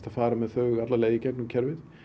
að fara með þau alla leið í gegnum kerfið